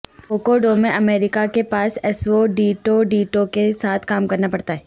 کوکوڈو میں امریکہ کے پاس اسوڈیوڈیٹو کے ساتھ کام کرنا پڑتا ہے